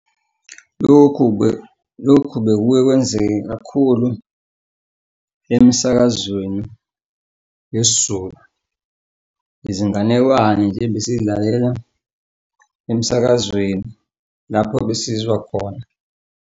Lokhu lokhu bekuke kwenzeke kakhulu emsakazweni yesiZulu. Izinganekwane nje besiy'lalela emsakazweni lapho besizwa khona.